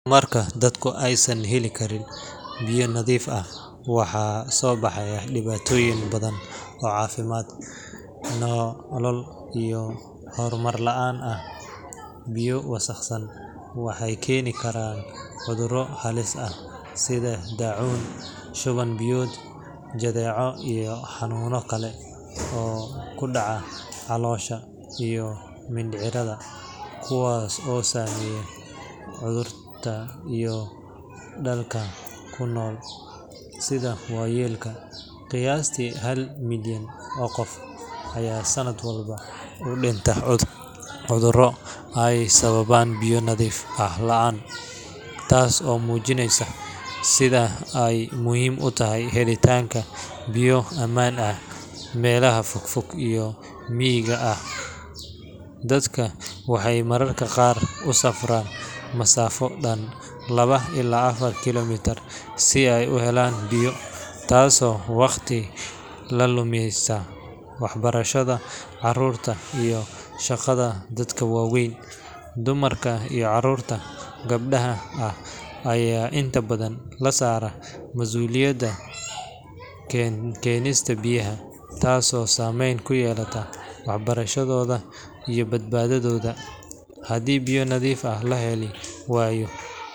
Marka dadku aysan heli karin biyo nadiif ah, waxaa soo baxa dhibaatooyin badan oo caafimaad, nolol iyo horumar la’aan ah. Biyo wasakhaysan waxay keenaan cudurro halis ah sida daacuun, shuban-biyood, jadeeco, iyo xanuunno kale oo ku dhaca caloosha iyo mindhicirrada, kuwaas oo saameeya carruurta iyo dadka nugul sida waayeelka. Qiyaastii hal milyan oo qof ayaa sanad walba u dhinta cudurro ay sababaan biyo nadiif ah la’aan, taas oo muujinaysa sida ay muhiim u tahay helitaanka biyo ammaan ah. Meelaha fogfog iyo miyiga ah, dadku waxay mararka qaar u safraan masaafo dhan laba ilaa afar kiiloomitir si ay u helaan biyo, taasoo waqti ka luminaysa waxbarashada carruurta iyo shaqada dadka waaweyn. Dumarka iyo carruurta gabdhaha ah ayaa inta badan la saaraa masuuliyadda keenista biyaha, taasoo saameyn ku yeelata waxbarashadooda iyo badbaadadooda. Haddii biyo nadiif ah la heli waayo.